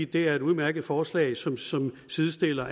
det er et udmærket forslag som som sidestiller